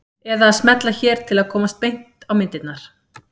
Eða að smella hér til að komast beint á myndirnar.